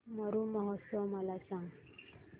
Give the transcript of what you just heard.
मरु महोत्सव मला सांग